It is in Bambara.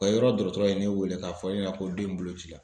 O yɔrɔ dɔgɔtɔrɔ ye ne wele k'a fɔ ne ɲɛna ko den in bolo ci la.